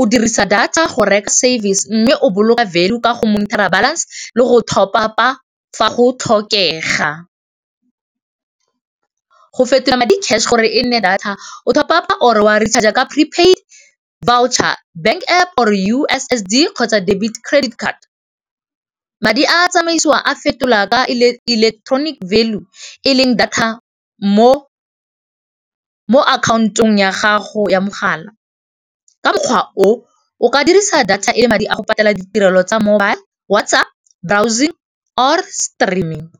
o dirisa data go service mme o value ka go monitor-a balance le go top-up-a fa go tlhokega. Go fetola madi cash gore e nne data o top-up-a or wa recharger ka prepaid voucher, bank App or U_S_S_D kgotsa debit, credit card. Madi a tsamaisiwa a fetola ka electronic value e leng data mo account-ong ya gago ya mogala. Ka mokgwa o o ka dirisa data e le madi a go patela ditirelo tsa mobile, WhatsApp, browsing or streaming.